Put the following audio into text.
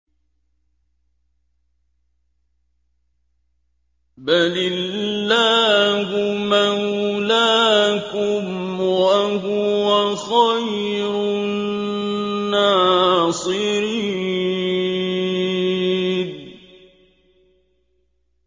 بَلِ اللَّهُ مَوْلَاكُمْ ۖ وَهُوَ خَيْرُ النَّاصِرِينَ